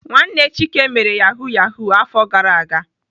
Nwanne Chike mere Yahoo Yahoo afọ gara aga.